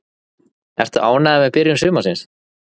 Ertu ánægður með byrjun sumarsins?